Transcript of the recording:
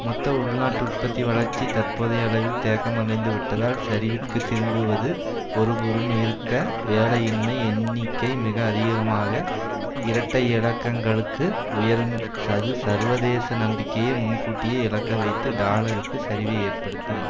மொத்த உள்நாட்டு உற்பத்தி வளர்ச்சி தற்போதைய அளவில் தேக்கம் அடைந்துவிட்டால் சரிவிற்கு திரும்புவது ஒருபுறம் இருக்க வேலையின்மை எண்ணிக்கை மிக அதிககமாக இரட்டை இலக்கங்களுக்கு உயரும் அது சர்வதேச நம்பிக்கையை முன்கூட்டியே இழக்க வைத்து டாலருக்கு சரிவை ஏற்படுத்தும்